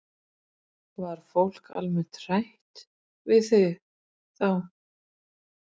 Var fólk almennt hrætt við þá?